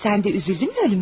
Sən də kədərləndinmi ölümünə?